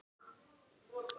SKÚLI: Vinir mínir!